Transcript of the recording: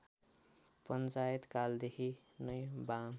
पञ्चायतकालदेखि नै वाम